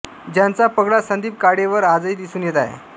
ज्याचा पगडा संदीप काळेंवर आजही दिसून येत आहे